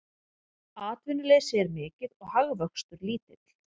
Atvinnuleysi er mikið og hagvöxtur lítill